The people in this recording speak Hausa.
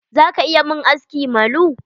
Za ka iya mun aski malu?